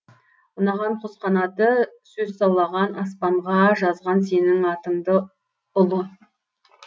ұнаған құс қанаты сөз саулаған аспанға жазған сенің атыңды ұлы